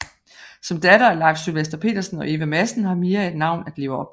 Som datter af Leif Sylvester Petersen og Eva Madsen har Mia et navn at leve op til